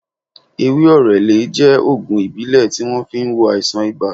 Ewé orele jẹ́ ògùn ìbílẹ̀ tí wón fi ń wo àìsàn ibà